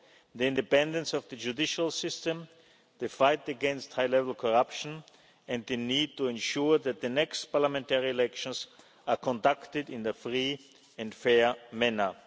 banking fraud, the independence of the judicial system, the fight against high level corruption, and the need to ensure that the next parliamentary elections are conducted in a free and